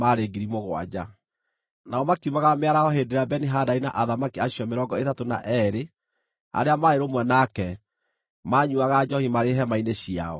Nao makiumagara mĩaraho hĩndĩ ĩrĩa Beni-Hadadi na athamaki acio mĩrongo ĩtatũ na eerĩ arĩa maarĩ rũmwe nake, maanyuuaga njoohi marĩ hema-inĩ ciao.